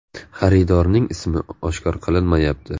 Xaridorning ismi oshkor qilinmayapti.